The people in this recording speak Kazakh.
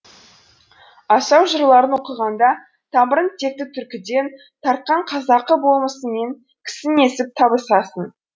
асау жырларын оқығанда тамырын текті түркіден тартқан қазақы болмысыңмен кісінесіп табысасың